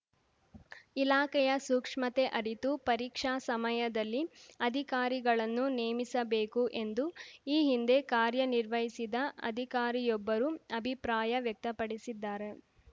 ಇಲಾಖೆಯ ಸೂಕ್ಷ್ಮತೆ ಅರಿತು ಪರೀಕ್ಷಾ ಸಮಯದಲ್ಲಿ ಅಧಿಕಾರಿಗಳನ್ನು ನೇಮಿಸಬೇಕು ಎಂದು ಈ ಹಿಂದೆ ಕಾರ್ಯನಿರ್ವಹಿಸಿದ ಅಧಿಕಾರಿಯೊಬ್ಬರು ಅಭಿಪ್ರಾಯ ವ್ಯಕ್ತಪಡಿಸಿದ್ದಾರೆ